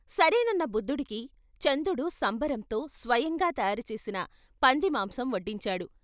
సరేనన్న బుద్ధుడికి చందుడు సంబరంతో స్వయంగా తయారుచేసిన పందిమాంసం వడ్డించాడు.